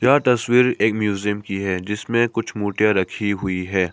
यह तस्वीर एक म्यूजियम की है जिसमें कुछ मूर्तियां रखी हुई है।